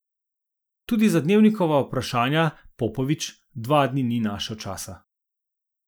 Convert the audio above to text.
Tudi za Dnevnikova vprašanja Popovič dva dni ni našel časa.